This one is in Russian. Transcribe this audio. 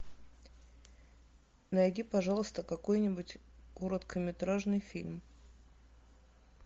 найди пожалуйста какой нибудь короткометражный фильм